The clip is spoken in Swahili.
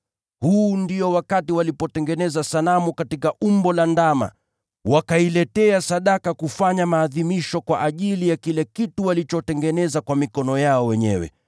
Huu ni ule wakati walitengeneza sanamu katika umbo la ndama, wakailetea sadaka kufanya maadhimisho kwa ajili ya kile kitu walichokitengeneza kwa mikono yao wenyewe.